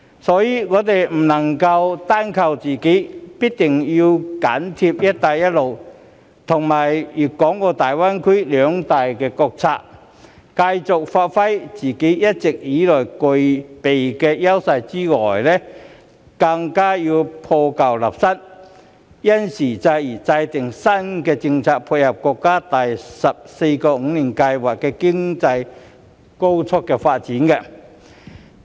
所以，我們不能單靠自己，必定要緊貼"一帶一路"及粵港澳大灣區兩大國策，除繼續發揮自己一直以來具備的優勢以外，更要破舊立新，因時制宜制訂新的政策配合國家第十四個五年規劃的經濟高速發展。